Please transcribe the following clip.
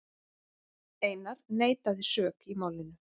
Einar neitaði sök í málinu.